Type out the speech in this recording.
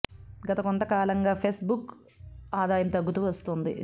గత కొంత కాలంగా ఫెస్ బుక్ ఆదాయం తగ్గుతూ వస్తోంది